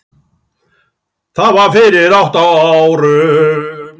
Það var fyrir átta árum.